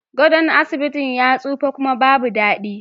Gadon asibitin ya tsufa kuma babu dadi